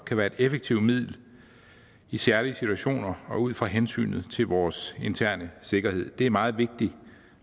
kan være et effektivt middel i særlige situationer og ud fra hensynet til vores interne sikkerhed det er meget vigtigt at